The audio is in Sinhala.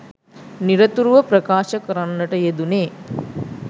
නිරතුරුව ප්‍රකාශ කරන්නට යෙදුණේ